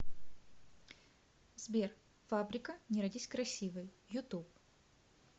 сбер фабрика не родись красивой ютуб